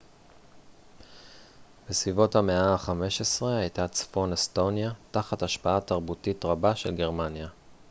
בסביבות המאה ה-15 הייתה צפון אסטוניה תחת השפעה תרבותית רבה של גרמניה